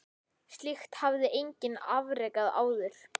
Slíkt hafði enginn afrekað áður.